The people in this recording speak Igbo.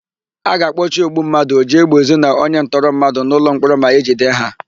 A ga-akpọchi ogbummadụ, ojiégbèezu na onyentọmmadụ n'ụlọmkpọrọ ma e jide ha.